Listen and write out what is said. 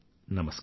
నమస్కారం